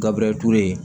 Gabure ture